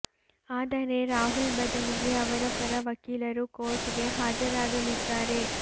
ಆದರೆ ರಾಹುಲ್ ಬದಲಿಗೆ ಅವರ ಪರ ವಕೀಲರು ಕೋರ್ಟ್ ಗೆ ಹಾಜರಾಗಲಿದ್ದಾರೆ